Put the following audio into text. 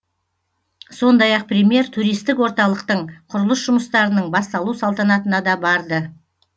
сондай ақ премьер туристік орталықтың құрылыс жұмыстарының басталу салтанатына да барды